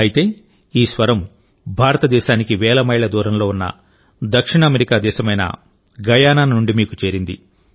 అయితే ఈ స్వరం భారతదేశానికి వేల మైళ్ల దూరంలో ఉన్న దక్షిణ అమెరికా దేశమైన గయానా నుండి మీకు చేరింది